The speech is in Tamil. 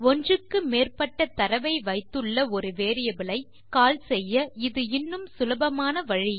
ஒன்றுக்கு மேற்பட்ட தரவை வைத்துள்ள ஒரு வேரியபிள் ஐ கால் செய்ய இது இன்னும் சுலபமான வழி